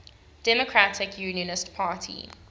democratic unionist party